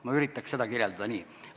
Ma üritaks seda kirjeldada nii.